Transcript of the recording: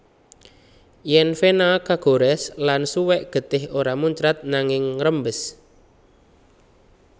Yèn vena kagorès lan suwèk getih ora muncrat nanging ngrembes